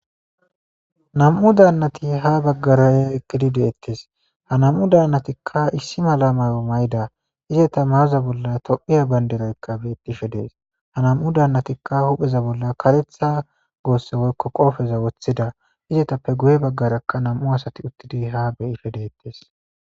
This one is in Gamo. nam7u dannati ha baggaray eqidi deettes ha nam7u daannatikka issi mala mayo may7da izeta mayoza bolla tophiya baynderoykka bettishe dees ha nam7u daannatikka hupheza bolla karetha goosse woykko qoofeza woththida izetappe guye baggarakka nam7u asati uttidi ha beyisfhe deettes